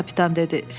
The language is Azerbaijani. Kapitan dedi.